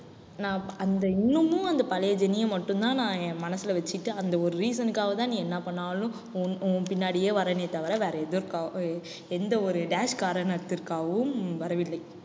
நான் அந்த இன்னமும் அந்த பழைய ஜெனிய மட்டும் தான் நான் என் மனசுல வச்சிட்டு அந்த ஒரு reason க்காக தான் நீ என்ன பண்ணாலும் உன் உன் பின்னாடியே வர்றேனே தவிர வேற எதற்காக~ எந்த ஒரு dash காரணத்திற்காகவும் வரவில்லை.